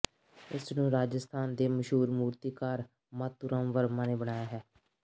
ਇਸ ਨੂੰ ਰਾਜਸਥਾਨ ਦੇ ਮਸ਼ਹੂਰ ਮੂਰਤੀਕਾਰ ਮਾਤੂ ਰਾਮ ਵਰਮਾ ਨੇ ਬਣਾਇਆ ਹੈ